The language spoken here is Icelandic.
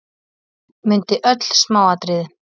Mundi öll smáatriði.